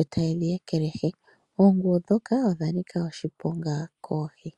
eta ye dhi ekelehi. Oonguwo ndhoka odha nika oshiponga koohi.